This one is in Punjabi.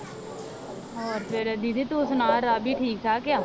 ਹੋਰ ਫਿਰ ਦੀਦੀ ਤੂੰ ਸੁਣਾ ਰਾਵੀ ਠੀਕ ਠਾਕ ਆ।